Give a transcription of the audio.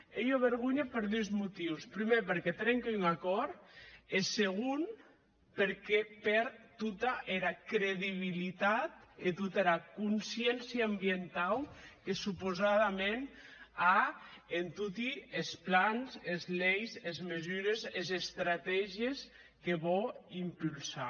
ei ua vergonha per dus motius prumèr perque trinque un acòrd e segon perque pèrd tota era credibilitat e tota era consciéncia ambientau que supausadament a en toti es plans es leis es mesures es estratègies que vò impulsar